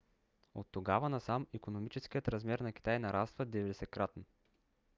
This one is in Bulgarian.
оттогава насам икономическият размер на китай нараства 90-кратно